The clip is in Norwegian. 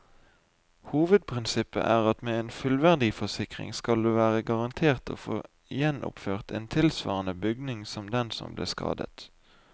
Hovedprinsippet er at med en fullverdiforsikring skal du være garantert å få gjenoppført en tilsvarende bygning som den som ble skadet.